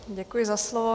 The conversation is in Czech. Děkuji za slovo.